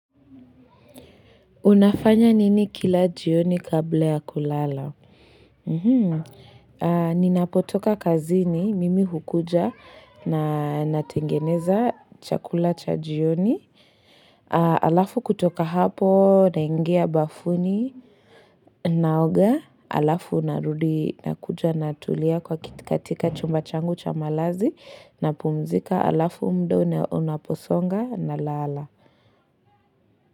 Unafanya nini kila jioni kabla ya kulala? Ninapotoka kazini, mimi hukuja na natengeneza chakula cha jioni. Alafu kutoka hapo, naingia bafuni, naoga, alafu narudi nakuja natulia kwa katika chumba changu cha malazi, napumzika, alafu muda unaposonga na lala.